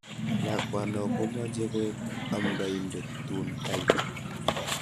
Lakwano komeche koek amndaindet tun kait